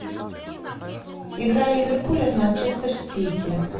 игра ливерпуля с манчестер сити